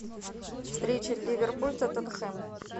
встреча ливерпуль тоттенхэм